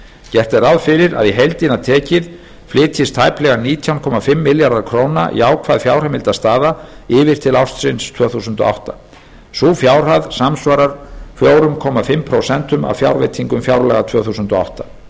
gert er ráð fyrir að í heildina tekið flytjist tæplega nítján komma fimm milljarða króna jákvæð fjárheimildastaða yfir til ársins tvö þúsund og átta sú fjárhæð samsvarar fjögur og hálft prósent af fjárveitingum fjárlaga tvö þúsund og átta